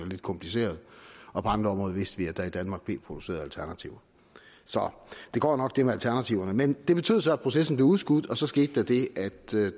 lidt komplicerede og på andre områder vidste vi at der i danmark blev produceret alternativer så det går jo nok det med alternativerne men det betød så at processen blev udskudt og så skete der det at